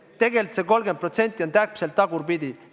Tegelikult see 30% on täpselt tagurpidi.